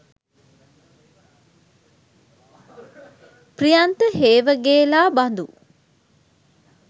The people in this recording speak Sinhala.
ප්‍රියන්ත හේවගේලා බඳු